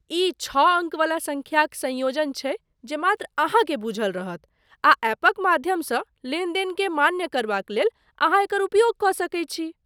ई छओ अङ्क वला सङ्ख्याक संयोजन छैक जे मात्र अहाँकेँ बूझल रहत आ एपक माध्यमसँ लेनदेनकेँ मान्य करबाक लेल अहाँ एकर उपयोग कऽ सकैत छी।